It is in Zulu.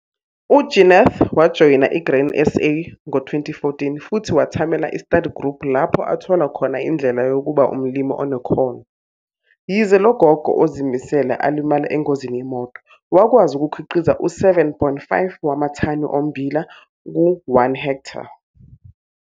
UJeneth wajoyina iGrain SA ngo-2014 futhi wethamela i-study group lapho athola khona indlela yokuba umlimi onekhono. Yize lo gogo ozimisele alimala engozini yemoto, wakwazi ukukhiqiza u-7,5 wamathani ommbila ku-1 ha.